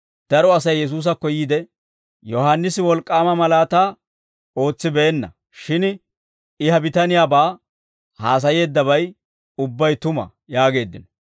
Daro Asay Yesuusakko yiide, «Yohaannisi wolk'k'aama malaataa ootsibeenna; shin I ha bitaniyaabaa haasayeeddabay ubbay tuma» yaageeddino.